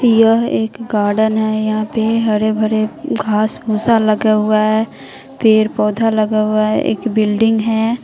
यह एक गार्डन है यहां पे हरे भरे घास भूसा लगा हुआ है पेड़ पौधा लगा हुआ है एक बिल्डिंग है।